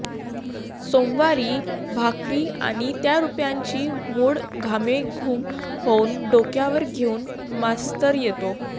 सोमवारी भाकरी आणि त्या रुपयांची मोड घामेघूम होऊन डोक्यावर घेऊन मास्तर येतो